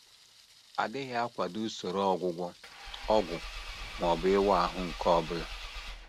adịghị akwado usoro ọgwụgwọ, ọgwụ, ma ọ bụ ịwa ahụ nke ọ bụla.